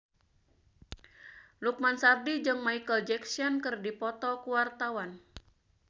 Lukman Sardi jeung Micheal Jackson keur dipoto ku wartawan